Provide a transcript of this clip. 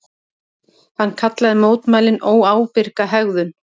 Hann kallaði mótmælin óábyrga hegðun